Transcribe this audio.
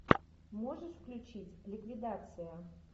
можешь включить ликвидация